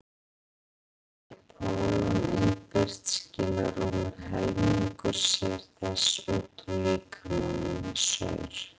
sé pólon innbyrt skilar rúmur helmingur þess sér út úr líkamanum með saur